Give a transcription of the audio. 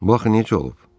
Bax necə olub.